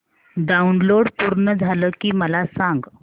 download पूर्ण झालं की मला सांग